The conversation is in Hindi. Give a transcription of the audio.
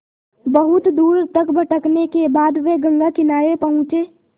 बहुत दूर तक भटकने के बाद वे गंगा किनारे पहुँचे